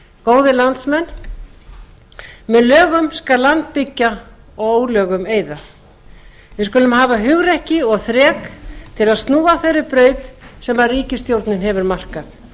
góðir landsmenn með lögum skal land byggja og ólögum eyða við skulum hafa hugrekki og þrek til að snúa af þeirri braut sem ríkisstjórnin hefur markað